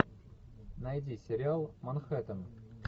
найди сериал манхэттен